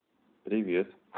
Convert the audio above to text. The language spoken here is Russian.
привет